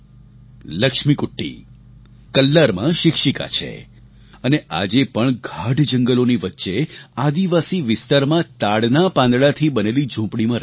લક્ષ્મીકુટ્ટી કલ્લારમાં શિક્ષિકા છે અને આજે પણ ગાઢ જંગલોની વચ્ચે આદિવાસી વિસ્તારમાં તાડના પાંદડાથી બનેલી ઝૂંપડીમાં રહે છે